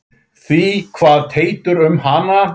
Því kvað Teitur um hana